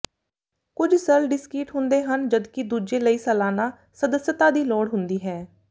ਕੁਝ ਸਰਲ ਡਿਸਕੀਟ ਹੁੰਦੇ ਹਨ ਜਦਕਿ ਦੂਜੇ ਲਈ ਸਾਲਾਨਾ ਸਦੱਸਤਾ ਦੀ ਲੋੜ ਹੁੰਦੀ ਹੈ